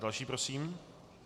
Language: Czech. Další prosím.